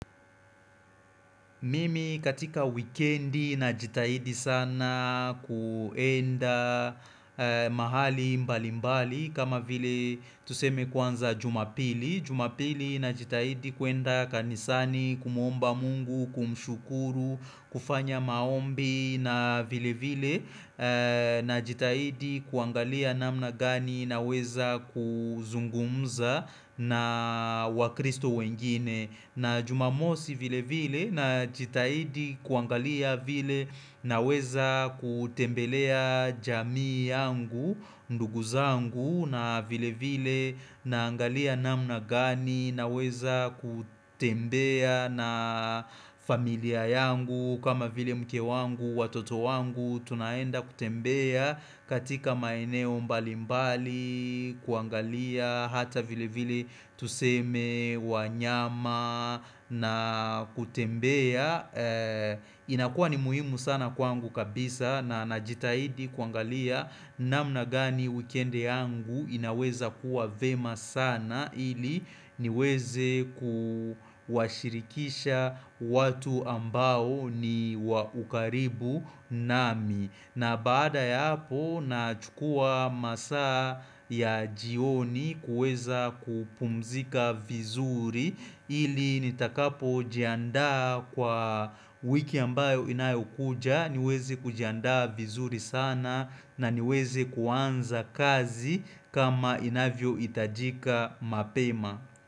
Mimi katika wikendi najitahidi sana kuenda mahali mbali mbali kama vile tuseme kwanza jumapili Jumapili najitahidi kuenda kanisani kumuomba mungu, kumshukuru, kufanya maombi na vile vile Najitahidi kuangalia namna gani naweza kuzungumza na wakristo wengine na jumamosi vile vile najitahidi kuangalia vile naweza kutembelea jamii yangu, ndugu zangu na vile vile na angalia namna gani naweza kutembea na familia yangu kama vile mke wangu, watoto wangu. Tunaenda kutembea katika maeneo mbali mbali kuangalia hata vile vile tuseme wanyama na kutembea inakua ni muhimu sana kwangu kabisa na najitahidi kuangalia namna gani wikendi yangu inaweza kuwa vyema sana ili niweze kuwashirikisha watu ambao ni wakaribu nami na baada ya hapo nachukua masaa ya jioni kuweza kupumzika vizuri ili nitakapo jianda kwa wiki ambayo inayokuja niweze kujianda vizuri sana na niweze kuanza kazi kama inavyo itajika mapema.